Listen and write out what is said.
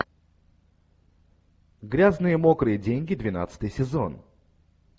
грязные мокрые деньги двенадцатый сезон